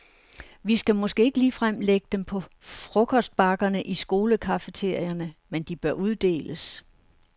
Vi skal måske ikke ligefrem lægge dem på frokostbakkerne i skolecafeterierne, men de bør uddeles.